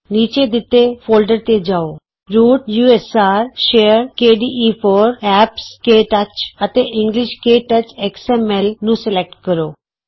ਨੀਚੇ ਦਿਤੇ ਫੋਲਡਰਤੇ ਜਾਉ root USR share KDE four APPS K touch root usr share kde4 apps K touch ਅਤੇ ਇੰਗਲਿਸ਼ਕੇ ਟੱਚਐਕਸ ਐਮ ਐਲ englishktouchਐਕਸਐਮਐਲ ਨੂੰ ਸਲੈਕਟ ਕਰੋ